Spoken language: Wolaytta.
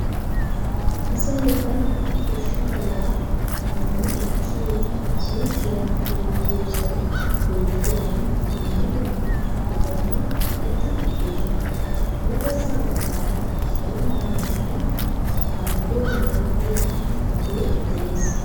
Asay bana koshidabaa shammi ekkiyoo suyqiyaa yaagiyoosay beettiyaagan dumma dumma buqurati kaqetti uttidosona. huuphessa baggaara salo meraa bolli safarikom yaagiyaa xifatee de'ees.